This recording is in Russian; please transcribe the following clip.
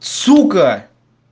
сука